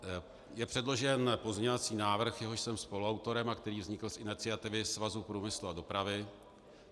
Je předložen pozměňovací návrh, jehož jsem spoluautorem a který vznikl z iniciativy Svazu průmyslu a dopravy.